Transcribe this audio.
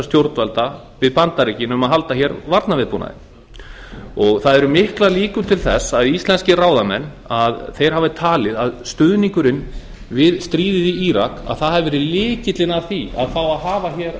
stjórnvalda við bandaríkin um að halda varnarviðbúnaði það eru miklar líkur til þess að íslenskir ráðamenn hafi talið að stuðningurinn við stríðið í írak hafi verið lykillinn að því að fá að hafa hér